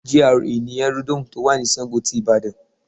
GRA in Aerodome to wà ni Sango ti Ìbàdàn